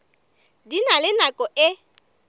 di na le nako e